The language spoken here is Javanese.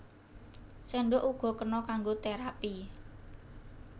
Séndhok uga kena kanggo terapi